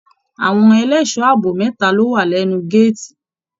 Àwọn ẹlẹṣọ ààbò mẹta lo wa lẹnu gàátí.